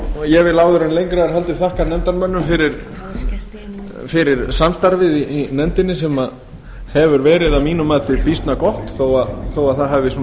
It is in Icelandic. ég vil áður en lengra er haldið þakka nefndarmönnum fyrir samstarfið í nefndinni sem hefur verið að mínu mati býsna gott þó að það hafi